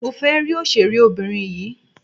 Mo fẹ́ rí òṣèré obìnrin yìí.